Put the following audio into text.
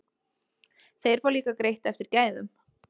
Þeir fá líka greitt eftir gæðum.